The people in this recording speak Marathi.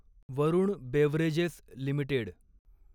Varun beverages limited